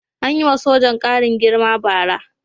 An yi wa sojan ƙarin girma bara.